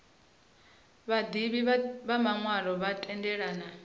vhaḓivhi vha maṅwalo vha tendelana